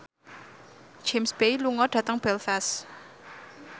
James Bay lunga dhateng Belfast